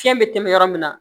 Fiɲɛ bɛ tɛmɛ yɔrɔ min na